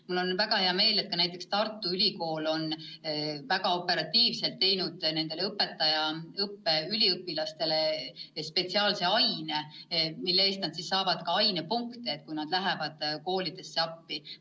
Mul on väga hea meel, et näiteks Tartu Ülikool on väga operatiivselt õpetajaõppe üliõpilastele teinud spetsiaalse aine, mille eest nad saavad ka ainepunkte, kui nad lähevad koolidesse appi.